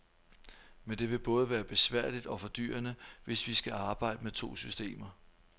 Men det vil både være besværligt og fordyrende, hvis vi skal arbejde med to systemer.